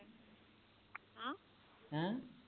ਹੈ